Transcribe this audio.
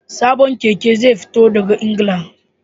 Sabon keke zai fito daga Ingila